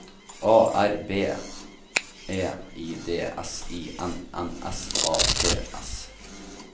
A R B E I D S I N N S A T S